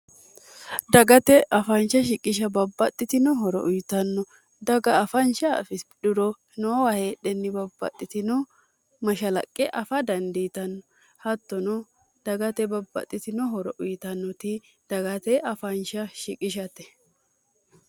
dagate afaansha shiqisha babbaxxitinohoro uyitanno daga afaanshafisidhuro noowa heedhenni babbaxxitino mashalaqqe afa dandiitanno hattono dagate babbaxxitinohoro uyitannoti dagate afaansha shiqishate